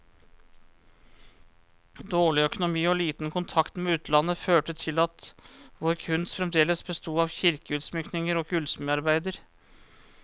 Dårlig økonomi og liten kontakt med utlandet, førte til at vår kunst fremdeles besto av kirkeutsmykninger og gullsmedarbeider.